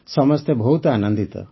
ସମସ୍ତେ ବହୁତ ଆନନ୍ଦିତ